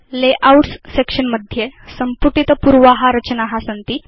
layouts section मध्ये सम्पुटित पूर्वा रचना सन्ति